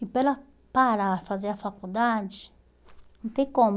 E para ela parar e fazer a faculdade, não tem como.